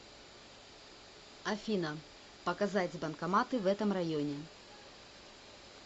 афина показать банкоматы в этом районе